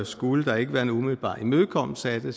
skulle der ikke være en umiddelbar imødekommelse af det